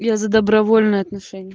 я за добровольное отношение